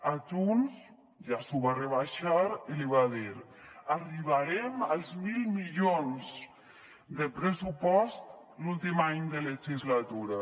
a junts ja li ho va rebaixar i li va dir arribarem als mil milions de pressupost l’últim any de legislatura